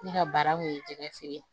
Ne ka baara kun ye jɛgɛ feere ye